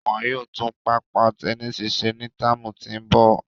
Wọn yóò tun papa tẹnisi ṣe ni tạamu ti n bọ